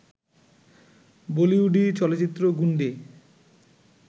বলিউডি চলচ্চিত্র গুন্ডে